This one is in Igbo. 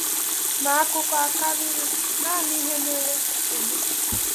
Ma, akụkọ a karịrị naanị ihe mere eme.